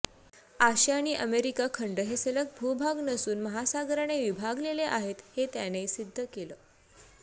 आशिया आणि अमेरीका खंड हे सलग भूभाग नसून महासागराने विभागलेले आहेत हे त्याने सिद्ध केलं